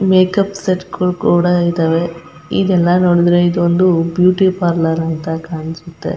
Makeup set ಕು ಕೂಡ ಇದಾವೆ ಇದೆಲ್ಲ ನೋಡಿದ್ರೆ ಇದೊಂದು ಬ್ಯೂಟಿ ಪಾರ್ಲರ್ ಅಂತ ಕಾಣುಸುತೆ.